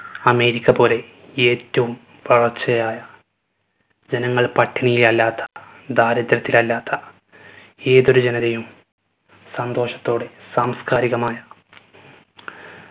America പോലെ ഏറ്റവും വളർച്ചയായ ജനങ്ങൾ പട്ടിണിയിൽ അല്ലാത്ത ദാരിദ്ര്യത്തിൽ അല്ലാത്ത ഏതൊരു ജനതയും സന്തോഷത്തോടെ സാംസ്കാരികമായ